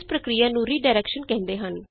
ਇਸ ਪ੍ਰਕ੍ਰਿਆ ਨੂੰ ਰੀ ਡਾਇਰੈਕਸ਼ਨ ਕਹਿੰਦੇ ਹਨ